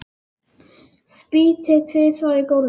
Spýti tvisvar á gólfið.